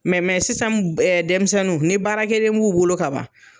sisan denmisɛnnu ni baarakɛden b'u bolo kaban